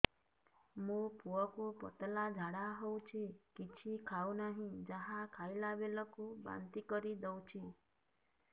ମୋ ପୁଅ କୁ ପତଳା ଝାଡ଼ା ହେଉଛି କିଛି ଖାଉ ନାହିଁ ଯାହା ଖାଇଲାବେଳକୁ ବାନ୍ତି କରି ଦେଉଛି